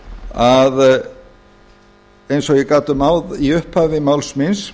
að eins og ég gat um í upphafi máls míns